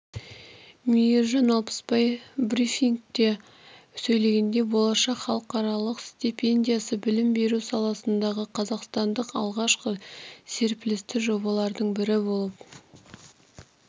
мейіржан алпысбай брифингте сөйлегенде болашақ халықаралық стипендиясы білім беру салысындағы қазақстандық алғашқы серпілісті жобалардың бірі болып